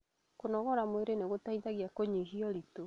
Kũnogora mwĩrĩ nĩgũteithagia kũnyihia ũritũ